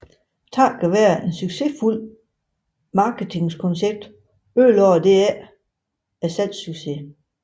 Takket være et succesfuldt marketingskoncept ødelagde dette dog ikke salgssuccesen